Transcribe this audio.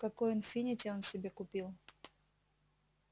какой инфинити он себе купил